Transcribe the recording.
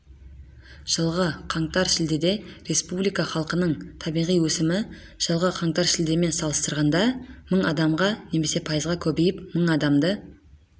жылғы қаңтар-шілдеде республика халқының табиғи өсімі жылғы қаңтар-шілдемен салыстырғанда мың адамға немесе пайызға көбейіп мың адамды